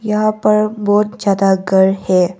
यहां पर बहुत ज्यादा घर है।